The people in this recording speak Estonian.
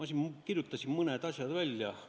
Ma kirjutasin mõned asjad välja.